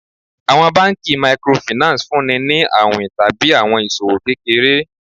Àwọn banki Microfinance fúnni ni àwìn tàbí àwọn iṣòwò kékeré.